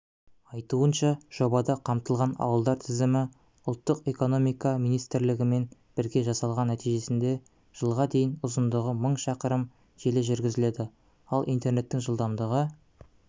айтуынша жобада қамтылған ауылдар тізімі ұлттық экономика министрлігімен бірге жасалған нәтижесінде жылға дейін ұзындығы мың шақырым желі жүргізіледі ал интернеттің жылдамдығы